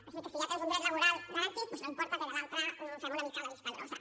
així que si ja tens un dret laboral garantit doncs no importa que de l’altre fem una mica la vista grossa